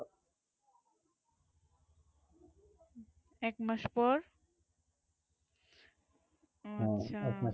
এক মাস পর ওহ আচ্ছা